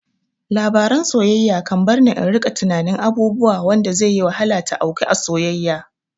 Labaran soyayya kan barni in rika tunanin abubuwa wanda zai yi wahala ta auku a soyayya